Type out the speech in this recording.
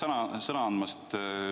Aitäh sõna andmast!